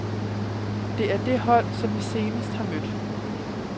Det er det hold, som vi senest har mødt.